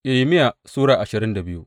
Irmiya Sura ashirin da biyu